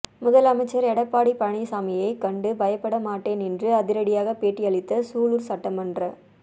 முதல் அமைச்சர் எடப்பாடி பழனிச்சாமியைக் கண்டு பயப்பட மாட்டேன் என்று அதிரடியாக பேட்டி அளித்த சூலூர் சட்டமன்ற